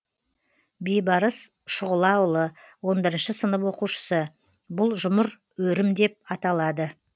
бейбарыс шұғылаұлы он бірінші сынып оқушысы бұл жұмыр өрім деп аталады